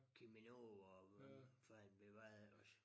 Cheminova og hvad fanden ved hvad ellers